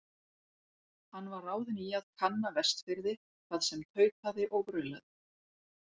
Hann var ráðinn í að kanna Vestfirði, hvað sem tautaði og raulaði.